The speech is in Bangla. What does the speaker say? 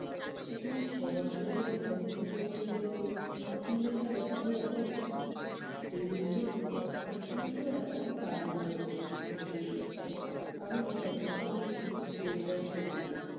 তা তুমি ছবছর ধরে লেখালেখি করছ বললে, কী লেখা দেখাবে তো? বিভূতি বললেন- তা তুমি তো এখন কাজে বেড়োচ্ছ, ফিরে এসো, আমি ততক্ষণে একটু গোজগাছ করে নিই।